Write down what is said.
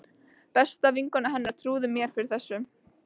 Besta vinkona hennar trúði mér fyrir þessu.